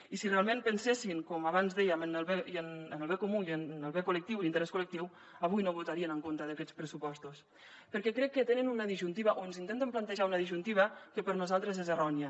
i si realment pensessin com abans dèiem en el bé comú i en el bé col·lectiu i l’interès col·lectiu avui no votarien en contra d’aquests pressupostos perquè crec que tenen una disjuntiva o ens intenten plantejar una disjuntiva que per nosaltres és errònia